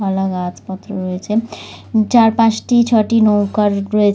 পালা গাছ পত্র রয়েছে। চার পাঁচটি ছটি নৌকা রয়েছে--